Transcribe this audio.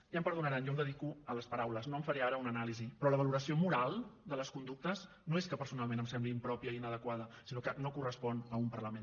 ja em perdonaran jo em dedico a les paraules no en faré ara una anàlisi però la valoració moral de les conductes no és que personalment em sembli impròpia i inadequada sinó que no correspon a un parlament